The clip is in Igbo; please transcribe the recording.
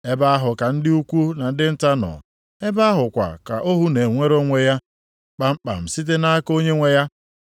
Ebe ahụ ka ndị ukwu na ndị nta nọ; ebe ahụ kwa ka ohu na-enwere onwe ya kpamkpam site nʼaka onye nwe ya.